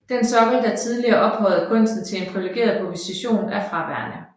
Den sokkel der tidligere ophøjede kunsten til en priviligeret position er fraværende